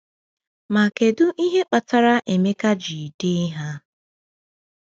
Ma kedu ihe kpatara Emeka ji dee ha?